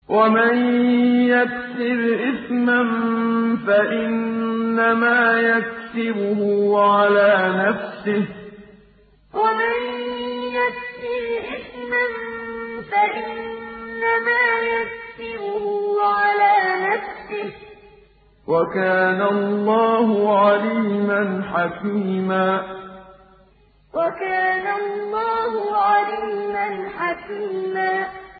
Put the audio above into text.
وَمَن يَكْسِبْ إِثْمًا فَإِنَّمَا يَكْسِبُهُ عَلَىٰ نَفْسِهِ ۚ وَكَانَ اللَّهُ عَلِيمًا حَكِيمًا وَمَن يَكْسِبْ إِثْمًا فَإِنَّمَا يَكْسِبُهُ عَلَىٰ نَفْسِهِ ۚ وَكَانَ اللَّهُ عَلِيمًا حَكِيمًا